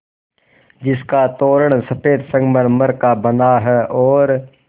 जिसका तोरण सफ़ेद संगमरमर का बना है और